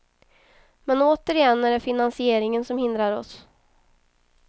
Men återigen är det finansieringen som hindrar oss.